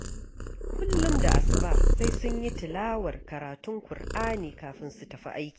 Kullum da asuba sai sun yi tilawar karatun ƙur'ani kafin su tafi aiki